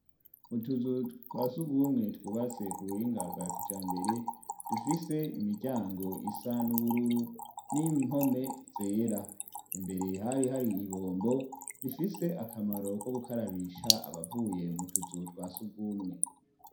Utuzu twa sugumwe twubase ku buhinga bwa kijambere dufise imiryango isa n'ubururu n'impome zera. Imbere hari ibombo, rifise akamaro ko gukarabisha abavuye mu tuzu twa sugumwe.